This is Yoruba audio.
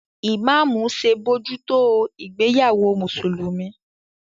Imamu ṣe bojuto ìgbéyàwó Mùsùlùmí.